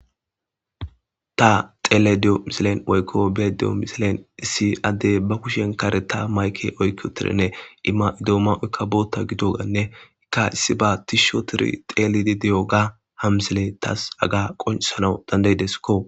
Ta xelaydda diyo miisilen woykko bettiyo missilen issi adey ba kushshen karetta mayke oyki uttidirinne dumma bitta gidoganne ta tishi ottididi tellidi de'iyogga ha missiley tas hagga qoncisanas dandaidesikko